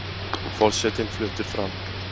Forsetinn fluttur fram